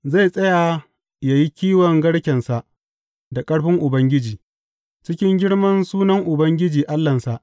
Zai tsaya yă yi kiwon garkensa da ƙarfin Ubangiji, cikin girman sunan Ubangiji Allahnsa.